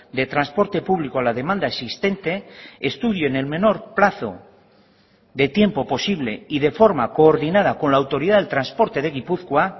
de transporte público a la demanda existente estudie en el menor plazo de tiempo posible y de forma coordinada con la autoridad del transporte de gipuzkoa